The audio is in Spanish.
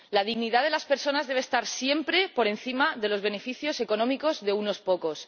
La dignidad de las personas debe estar siempre por encima de los beneficios económicos de unos pocos.